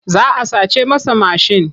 Za a sace masa mashin.